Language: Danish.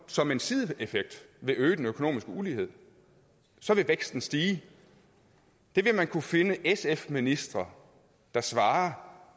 som en sideeffekt vil øge den økonomiske ulighed så vil væksten stige det vil man kunne finde sf ministre der svarer